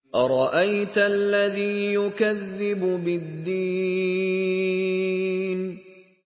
أَرَأَيْتَ الَّذِي يُكَذِّبُ بِالدِّينِ